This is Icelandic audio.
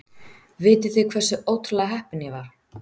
Vitið þið hversu ótrúlega heppinn ég var?